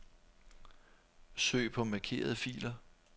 Søg på markerede filer.